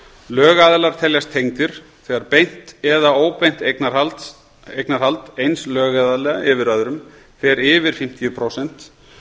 lögaðilar teljast tengdir þegar beint eða óbeint eignarhald eins lögaðila yfir öðrum fer yfir fimmtíu prósent